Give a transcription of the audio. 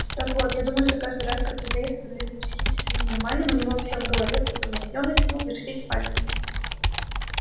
так вот я думаю что каждый раз когда дейв становился психически ненормальным у него все в голове путалось и он начинал вертеть пальцами